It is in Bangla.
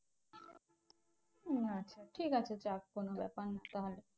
আচ্ছা ঠিকাছে যাক কোনো ব্যাপার না তাহলে।